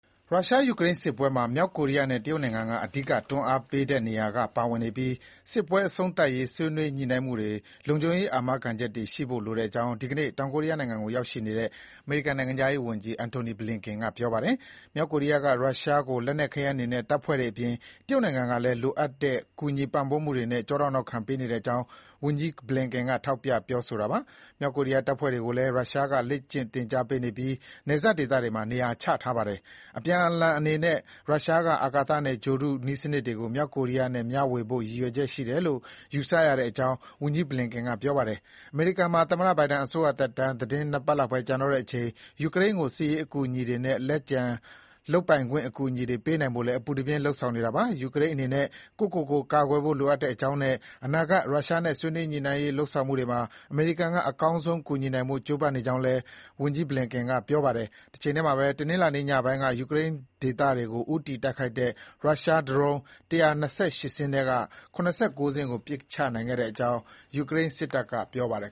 ရုရှား-ယူကရိန်းစစ်ပွဲမှာ မြောက်ကိုရီးယားနဲ့တရုတ်နိုင်ငံက အဓိကတွန်းအားပေးနေတဲ့နေရာကနေ ပါဝင်နေပြီး စစ်ပွဲအဆုံးသတ်ရေး ဆွေးနွေးညှိနှိုင်းမှုတွေမှာ လုံခြုံရေးအာမခံချက်တွေရှိဖို့ လိုကြောင်း ဒီကနေ့ တောင်ကိုရီးယားနိုင်ငံကိုရောက်နေတဲ့ အမေရိကန်နိုင်ငံခြားရေးဝန်ကြီး Antony Blinken က ပြောပါတယ်။ မြောက်ကိုရီးယားက ရုရှားကို လက်နက်ခဲယမ်းတွေနဲ့တပ်ဖွဲ့တွေအပြင် တရုတ်နိုင်ငံကလည်း လိုအပ်တဲ့ ကူညီပံ့ပိုးမှုတွေနဲ့ ကျောထောက်နောက်ခံပေးနေကြောင်း ဝန်ကြီး Blinken ကထောက်ပြပြောဆိုတာပါ။ မြောက်ကိုရီးယားတပ်ဖွဲ့တွေကိုလည်း ရုရှားက လေ့ကျင့်သင်ကြားပေးထားပြီး နယ်စပ်ဒေသတွေမှာ နေရာချထားပါတယ်။ အပြန်အလှန်အနေနဲ့ ရုရှားက အာကာသနဲ့ ဂြိုဟ်တုနည်းစနစ်တွေကို မြောက်ကိုရီးယားနဲ့ မျှဝေဖို့ ရည်ရွယ်ချက်ရှိတယ်လို့ ယူဆရတဲ့အကြောင်း ဝန်ကြီး Blinken ကပြောပါတယ်။ အမေရိကန်မှာ သမ္မတ Biden အစိုးရသက်တမ်း သီတင်းနှစ်ပတ်လောက်ပဲ ကျန်တော့တဲ့အချိန် ယူကရိန်းကိုစစ်ရေးအကူအညီတွေနဲ့ လက်ကျန်လုပ်ပိုင်ခွင့်အကူအညီတွေပေးနိုင်ဖို့လည်း အပူတပြင်း လုပ်ဆောင်နေတာပါ။ ယူကရိန်းအနေနဲ့ ကိုယ့်ကိုယ်ကိုကာကွယ်ဖို့ လိုအပ်ကြောင်းနဲ့ အနာဂတ် ရုရှားနဲ့ ဆွေးနွေးညှိနှိုင်းရေးလုပ်ဆောင်မှုတွေမှာ အမေရိကန်က အကောင်းဆုံးကူညီနိုင်ဖို့ ကြိုးပမ်းနေကြောင်းလည်း အမေရိကန်နိုင်ငံခြားရေးဝန်ကြီး Antony Blinken ကပြောဆိုခဲ့ပါတယ်။ တချိန်တည်းမှာပဲ တနင်္လာညပိုင်း ယူကရိန်းဒေသတွေကို ဦးတည်တိုက်ခိုက်တဲ့ ရုရှားဒရုန်း ၁၂၈ စင်းထဲက ၇၉ စင်းကို ပစ်ချနိုင်ခဲ့ကြောင်း ယူကရိန်းစစ်တပ်ကပြောပါတယ်